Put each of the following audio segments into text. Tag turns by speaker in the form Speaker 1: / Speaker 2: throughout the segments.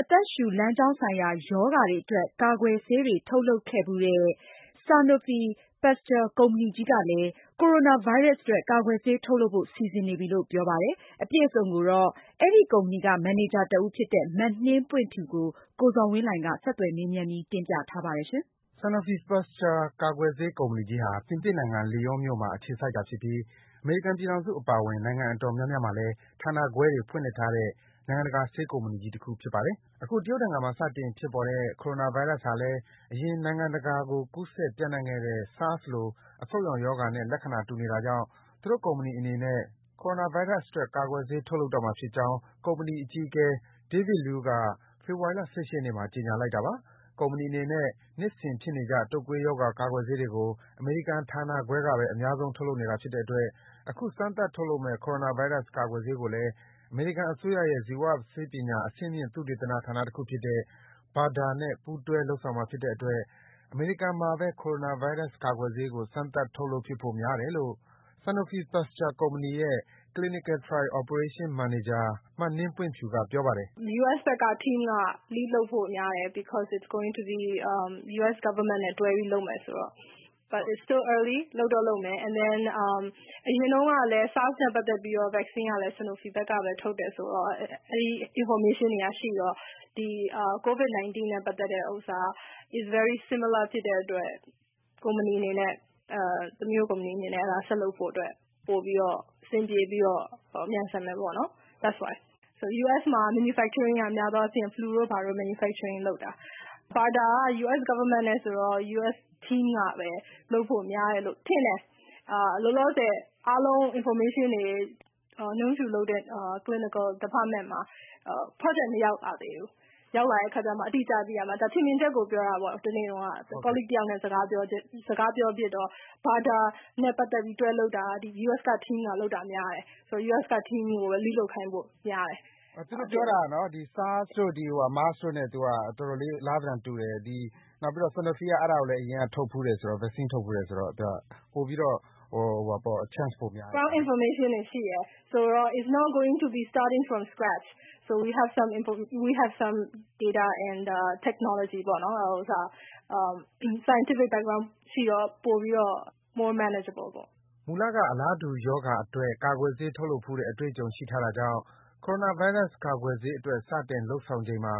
Speaker 1: အသက်ရှုလမ်းကြောင်းဆိုင်ရာ ရောဂါတွေအတွက် ကာကွယ်ဆေးတွေ ထုတ်လုပ်ခဲ့ဘူးတဲ့ Sanofi Pasteur ကုမ္ပဏီကြီးကလည်း Coronavirus အတွက် ကာကွယ်ဆေး ထုတ်လုပ်ဖို့ စီစဉ်နေပြီလို့ ပြောပါတယ်။ အပြည့်အစုံကိုတော့ ဒီ Sanofi Pasteur ကုမ္ပဏီက မန်နေဂျာတဦးဖြစ်သူ မနှင်းပွင့်ဖြူကို ဆက်သွယ်မေးမြန်းပြီး ကိုဇော်ဝင်းလှိုင်က တင်ပြပေးထားပါတယ်။ Sanofi Pasteur
Speaker 2: ကာကွယ်ဆေးကုမ္ပဏီကြီးဟာ ပြင်သစ်နိုင်ငံ Léon မြို့မှာ အခြေစိုက်တာဖြစ်ပြီး အမေရိကန်ပြည်ထောင်စု အပါအဝင် နိုင်ငံအတော်များများမှာလည်း ဌာနခွဲတွေ ဖွင့်လှစ်ထားတဲ့ နိုင်ငံတကာ ဆေးကုမ္ပဏီကြီးတခု ဖြစ်ပါတယ်။ Coronavirus အတွက်ဆေး စမ်းသပ်မှု မျှော်လင့်ချက်ရှိနိုင်တဲ့သတင်းကို ဖတ်ရှုနိုင်ပါပြီ။ အခု တရုတ်နိုင်ငံမှာ စတင် ဖြစ်ပေါ်တဲ့ Coronavirus ဟာလည်း အရင် နိုင်ငံတကာကို ကူးစက် ပြန့်နှံ့ခဲ့တဲ့ SARS လို အဆုပ်ရောင်ရောဂါနဲ့ လက္ခဏာ တူနေတာကြောင့် သူတို့ကုမ္ပဏီအနေနဲ့လည်း Coronavirus အတွက် ကာကွယ်ဆေး ထုတ်လုပ်တော့မှာ ဖြစ်ကြောင်း ကုမ္ပဏီအကြီးအကဲ David Loew က ဖေဖော်ဝါရီလ ၁၈ ရက်နေ့မှာ ကြေညာလိုက်တာပါ။ ကုမ္ပဏီအနေနဲ့ နှစ်စဉ်ဖြစ်နေကျ တုပ်ကွေးရောဂါ ကာကွယ်ဆေးတွေကို အမေရိကန်ဌာနခွဲကဘဲ အများဆုံး ထုတ်လုပ်နေတာဖြစ်တဲ့အတွက် အခု စမ်းသပ် ထုတ်လုပ်မယ့် Coronavirus ကာကွယ်ဆေးကိုလည်း အမေရိကန်အစိုးရရဲ့ ဇီဝဆေးပညာ အဆင့်မြင့် သုတေသနဌာန တခုဖြစ်တဲ့ BADAR (Biomedical Advanced Research and Development Authority) နဲ့ ပူးတွဲ့ လုပ်ဆောင်မှာဖြစ်တဲ့အတွက် အမေရိကန်မှာဘဲ Coronavirus ကာကွယ်ဆေးကို စမ်းသပ် ထုတ်လုပ်ဖြစ်ဖို့ များတယ်လို့ Sanofi Pasteur ကုမ္ပဏီရဲ့ Clinical Trial Operation မန်နေဂျာ မနှင်းပွင့်ဖြူက ပြောပါတယ်
Speaker 1: ။ “US ဘက်က Team က lead လုပ်ဖို့များတယ်။ ဘာဖြစ်လို့လဲဆိုတော့ US Government နဲ့ တွဲလုပ်မယ်ဆိုတော့ ။ ဒါပေမယ့် စောသေးတယ် လုပ်တော့လုပ်မယ် ။ အရင်တုန်းကလည်း SARS နဲ့ ပတ်သက်ပြီးတော့ ဆေးကလည်း Sanofi ဘက်က ထုတ်တယ်ဆိုတော့ အဲဒီ အချက်အလက်တွေရှိတော့ ဒီ COVID19 နဲ့ ပတ်သက်တာက နီးစပ်တယ်ဆိုတော့ ကုမ္ပဏီ အနေနဲ့ ဆက်လုပ်ဖို့အတွက် အဆင်ပြေပြီးတော့ မြန်ဆန်မယ်ပေါ့နော်။ US မှာက ထုတ်လုပ်တာက များသောအားဖြင့် လူတို့ဘာတို့ Manufacturing လုပ်တာ BADAR က အမေရိကန်အစိုးရနဲ့ ဆိုတော့ US Team နဲ့ ပဲ လုပ်ဖို့များတယ်လို့ ထင်တယ်။ လောလောဆယ်အားလုံး information တွေ ကတော့ ကျမလုပ်တဲ့ Clinical Department မှာ project မရောက်လာသေးဘူး။ ရောက်လာမှာ အတိအကျ သိရမှာ။ ဒါကတော့ ထင်မြင်ချက်ကို ပြောတာပေါ့နော် တနေ့တုန်းက အလုပ်အတူတူ လုပ်တဲ့ တယောက်နဲ့ စကားပြောဖြစ်တော့ BADAR နဲ့ တွဲလုပ်တာက US Team နဲ့ လုပ်တာများတယ် ။ ဆိုတော့ US Team ကိုပဲ Lead လုပ်ခိုင်းဖို့ များတယ်။ မေး။
Speaker 2: ။ သူတို့ပြောတာ SARS တို့ MERS တို့နဲ့ အတော်လေး အလားသဏ္ဍာန်တူတယ်။ နောက်ပြီးတော့ Sanofi က အရင်က လည်း အဲဒါကို vaccine ထုတ်ဖူးတယ်ဆိုတော့ ပိုပြီးတော့ chance ပိုများတယ်။
Speaker 1: ဖြေ။ ။ တချို့ အချက်လက်တွေရှိတယ်ဆိုတော့ it is not going to be starting from scratch. So we have some information, data and technology ပေါ့နော် Scientific background ရှိတော့ ပိုပြီးတော့ more manageable ပေါ့နော်
Speaker 2: ။” မူလကက အလားတူရောဂါအတွက် ကာကွယ်ဆေးထုတ်ဘူးတဲ့ အတွေ့အကြုံ ရှိထားတာကြောင့် Coronavirus ကာကွယ်ဆေးအတွက် စတင်လုပ်တဲ့အချိန်မှာ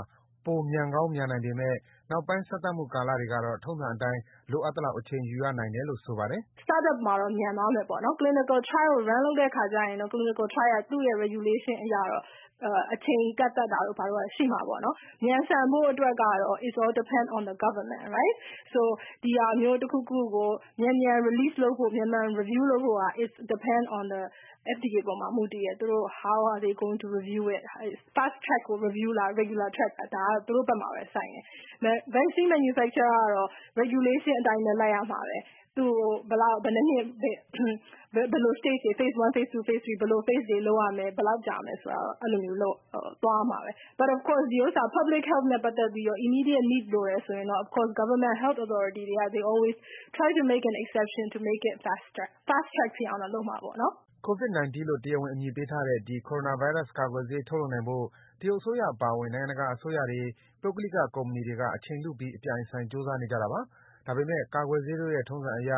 Speaker 2: ပိုမြန်ကောင်း မြန်နိုင်ပေမယ့် နောက်ပိုင်း စမ်းမှုကာလတွေကတော့ ထုံးအတိုင်း လိုအပ်သလောက် အချိန်ယူရနိုင်တယ်လို့ ဆိုပါတယ်။ “
Speaker 1: အစပိုင်းမှာတော့ မြန်သွားမယ်ပေါ့နော် Clinical trial ကို run လုပ်တဲ့အခါကျရင်တော့ Clinical trial က သူ့ regulation အရတော့ အချိန်ကန့်သတ်တာတို့ ရှိမှာပေါ့နော်။ မြန်ဆန်ဖို့အတွက်ကတော့ it is all depend on the Government ။ ဆိုတော့ ဒီလိုမျိုးတခုခုကို မြန်မြန်ထုတ်ဖို့အတွက် မြန်မြန် review လုပ်ဖို့အတွက်က it is all depend on the FDA အပေါ်မှာ မူတည်တယ်။ How are they going to review it. ဒါကတော့ သူတို့ဘက်မှာပဲ ဆိုင်တယ်။ vaccine manufacture ကတော့ regulation အတိုင်းပဲ လိုက်ရမှာပဲ။ ဘယ်လို အဆင့်တွေ လုပ်ရမယ် ဘယ်လောက်ကြာမယ်ဆိုတာကတော့ သွားရမှာပဲ။ ဒါပေမယ့် Public Health နဲ့ ပတ်သက်ပြီးတော့ immediate need လိုတယ်ဆိုရင်တော့ Government Health Authorities တွေကတော့ they always try to make it exception to make it fast track ဖြစ်အောင်တော့ လုပ်မှာပေါ့နော်။
Speaker 2: ” Covid-19 လို့ တရားဝင်အမည်ပေးထားတဲ့ ဒီ ကိုရိုနာဗိုင်းရပ်စ်ကာကွယ်ဆေးထုတ်လုပ်နိုင်ဖို့ တရုတ်အစိုးရအပါအဝင် နိုင်ငံတကာ အစိုးရတွေ၊ ပုဂ္ဂလိကကုမ္ပဏီတွေက အချိန်လုပြီး အပြိုင်အဆိုင် ကြိုးစားနေကြတာပါ။ ဒါပေမယ့် ကာကွယ်ဆေးတို့ရဲ့ ထုံးစံရ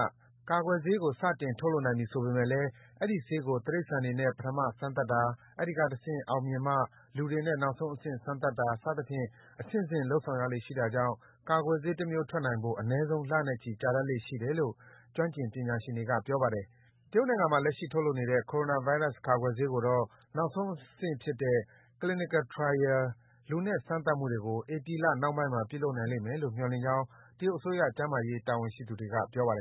Speaker 2: ကာကွယ်ဆေးကို ထုပ်လိုက်နိုင်ပြီဆိုပေမယ့်လည်း အဲဒီဆေးကို တိရိစ္ဆာန်တွေနဲ့ ပထမအဆင့် စမ်းသပ်တာ၊ အဲဒီအဆင့် အောင်မြင်မှ လူတွေနဲ့ နောက်ဆုံးအဆင့် စမ်းသပ်တာ စသဖြင့် အဆင့်ဆင့်လုပ်ဆောင်ရလေ့ရှိတာကြောင့် ကာကွယ်ဆေးတမျိုး ထွက်နိုင်ဖို့ အနည်းဆုံး လနဲ့ချီ ကြာတတ်လေ့ရှိတယ်လို့ ကျွမ်းကျင် ပညာရှင်တွေက ပြောပါတယ်။ တရုတ်နိုင်ငံမှာ လက်ရှိ ထုတ်လုပ်နေတဲ့ Coronavirus ကာကွယ်ဆေးကိုတော့ နောက်ဆုံးအဆင့်ဖြစ်တဲ့ Clinical Trial လူနဲ့ စမ်းသပ်မှုတွေကို ဧပြီလ နှောင်းပိုင်းမှာ ပြုလုပ်နိုင်မယ်လို့ မျှော်လင့်ကြောင်း တရုတ်အစိုးရ ကျန်းမာရေး တာဝန်ရှိသူတွေက ပြောပါတယ်